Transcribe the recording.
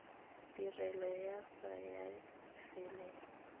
tirelo ya sars ya efiling